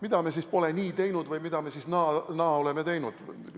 Mida me siis pole nii teinud või mida me siis naa oleme teinud?